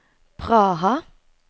Praha